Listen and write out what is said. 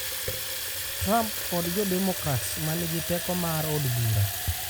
Trump kod jo demokrats ma nigi teko mar od bura